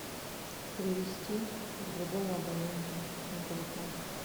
перевести другому абоненту на телефон